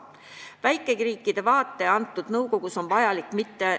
Väikeriikide vaade antud nõukogus on vajalik.